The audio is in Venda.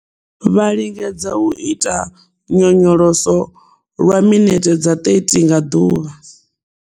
Vha lingedza u ita nyonyoloso lwa minithe dza 30 nga ḓuvha.